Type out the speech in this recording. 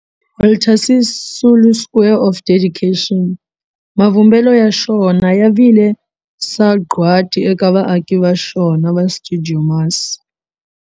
Walter Sisulu Square of Dedication, mavumbelo ya xona ya vi le sagwadi eka vaaki va xona va stuidio MAS.